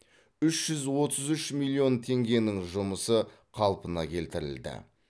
үш жүз отыз үш миллион теңгенің жұмысы қалпына келтірілді